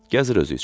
Gəzir özü üçün.